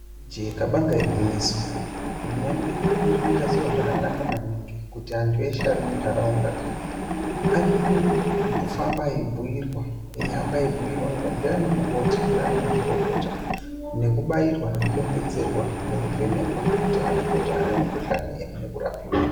Chikabanga igwinyiso hurumende irir kuita zviro zvakanaka maningi kuti antu eshe ari muntaraunda ari kufamba eibhuirwa eihamba eibhuirwa ndina mukoti ndana mazvikokota nekubairwa nekudonhedzerwa nekuvhenekwa kuti aonekwe kuti ana mukuhlana ere nekurapiwa.